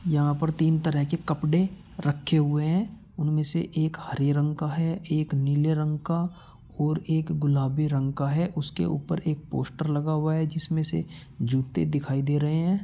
यहाँ पर तीन तरह के कपडे रखे हुए हैं उनमे से एक हरे रंग का है एक नीले रंग का और एक गुलाबी रंग का है उसके ऊपर एक पोस्टर लगा हुआ है जिसमे से जूते दिखाई दे रहे हैं।